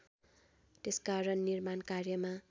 त्यसकारण निर्माण कार्यमा